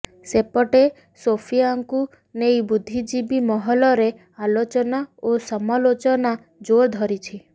ସେପଟେ ସୋଫିୟାଙ୍କୁ ନେଇ ବୁଦ୍ଧିଜୀବୀ ମହଲରେ ଆଲୋଚନା ଓ ସମାଲୋଚନା ଜୋରଧରିଛି